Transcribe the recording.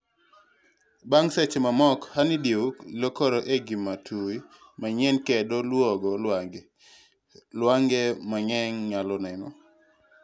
bang' seche mamoko, honeydew lokore e gima tui manyien kedo luongo lwange. Lwange mang'eny nyalo neno